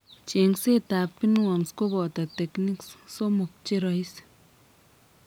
Cheng'seet ab pinworms kobooto techniques somok cheroisi